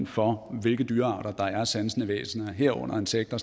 for hvilke dyrearter der er sansende væsener herunder insekter